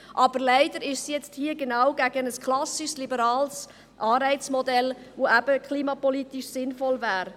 Aber leider ist es hier nun genau gegen ein klassisches liberales Anreizmodell, das eben klimapolitisch sinnvoll wäre.